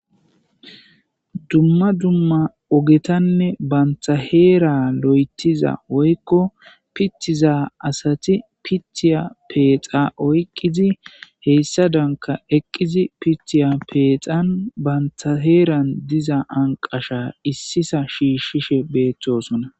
dumma dumma ogetanne banta heera lo7etiza woykko pitiza asati pitiya peexa oyqqizi heyssa danka eqqizi pitiya peexan banthaheeran diza anqasha issisa shiishshishe beettosona